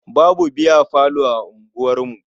Babu biyafalo a unguwarmu.